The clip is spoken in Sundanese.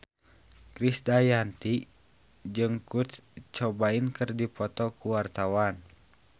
Krisdayanti jeung Kurt Cobain keur dipoto ku wartawan